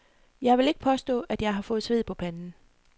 Jeg vil ikke påstå, jeg har fået sved på panden.